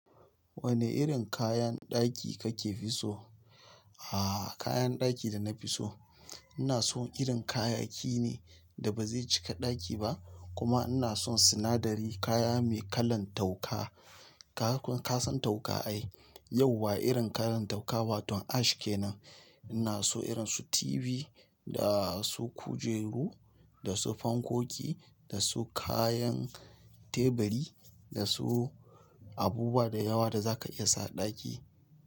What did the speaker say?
Wane irin kayan ɗaki kake fi so? Ah kayan ɗaki da na fi so, ina son irin kayayyaki ne da ba zai cika ɗaki ba kuma ina son sinadari kaya mai kalan tauka kaga ko ka san tauka ai? Yauwa irin kalan tauka baton ash kenan. Ina so irin su TV, da su kujeru, da su fankoki, da su kayan teburi, da su abubuwa da yawa da za ka iya sa a ɗaki.